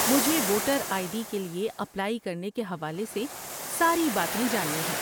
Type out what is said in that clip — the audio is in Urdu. مجھے ووٹر آئی ڈی کے لیے اپلائی کرنے کے حوالے سے ساری باتیں جاننی ہیں۔